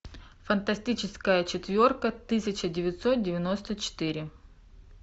фантастическая четверка тысяча девятьсот девяносто четыре